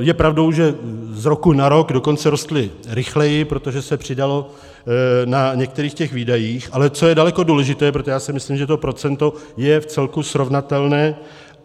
Je pravdou, že z roku na rok dokonce rostly rychleji, protože se přidalo na některých těch výdajích, ale co je daleko důležité, protože já si myslím, že to procento je vcelku srovnatelné